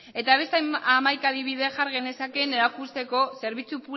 eta beste hamaika adibide jar genezakeen erakusteko zerbitzu